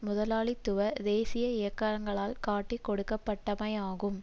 முதலாளித்துவ தேசிய இயக்கங்களால் காட்டிக் கொடுக்கப்பட்டமையாகும்